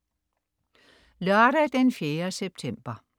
Lørdag den 4. september